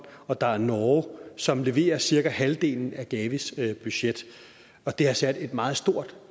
og der er norge som leverer cirka halvdelen af gavis budget og det har sat et meget stort